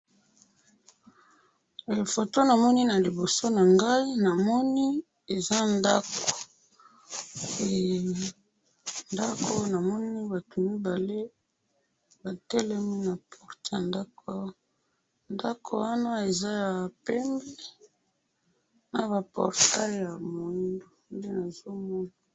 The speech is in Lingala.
Photo namoni na liboso na ngai namoni eza ndako, ndako namoni eza batu mibale ba telemi na porte ya ndako awa. Ndako wana eza ya pembe na ba portails ya moindo, nde nazo mona